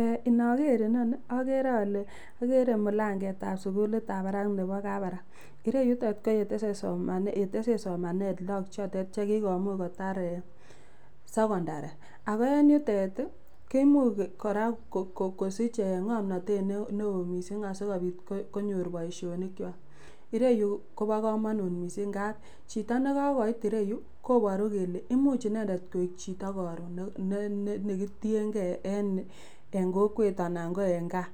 Eh inoker okere inoni okere ole kikere mulanget ab sukulit ab barak nebo kabarak, ireyutok koyeteset somanet lok chotet chekikomuch kotar eh secondary ako en yute kimuch koraa kisich ee ngomnotet neo missing asikopit konyor boishoni kwak, ireyu kobo komonut missing ngap chito nekokoit ireyuu koboru kele imuch inendet koik chito korun ne ne kitiyengee korun en kokwet anan ko en gaa